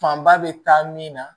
Fanba bɛ taa min na